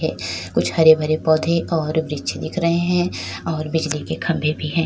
कुछ हरे भरे पौधे और वृक्ष दिख रहे हैं और बिजली के खंभे भी है।